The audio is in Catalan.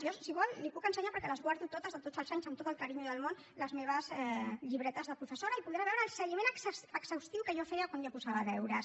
jo si ho vol li puc ensenyar perquè les guardo totes de tots els anys amb tot el carinyo del món les meves llibretes de professora i podrà veure el seguiment exhaustiu que jo feia quan jo posava deures